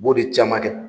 U b'o de caman kɛ